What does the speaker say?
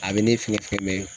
A be ne fɛ